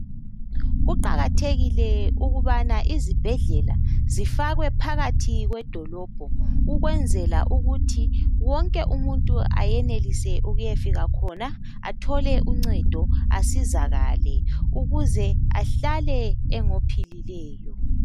Kuqakathekile ukubana izibhedlela zifakwe phakathi kwedolobho ukwenzela ukuthi wonke umuntu ayenelise ukuyafika khona athole uncedo asizakale ukuze ahlale engophilileyo.